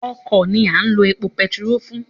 Ọkọ̀ ni a ń lo epo bẹntiróò fún.